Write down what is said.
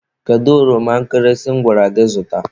Kedu ọroma nkịrịsị m gwara gị zụta?